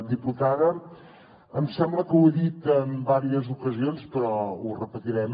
diputada em sembla que ho he dit en diverses ocasions però ho repetirem